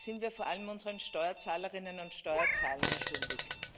Das sind wir vor allem unseren Steuerzahlerinnen und Steuerzahlern schuldig.